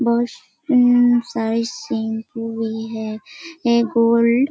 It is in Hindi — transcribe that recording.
बस उम्म सारे शैम्पू भी है ऐं गोल्ड --